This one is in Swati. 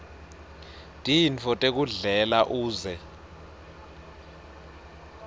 tintfo tekudlela uze